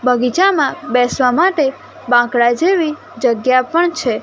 બગીચામાં બેસવા માટે બાંકડા જેવી જગ્યા પણ છે.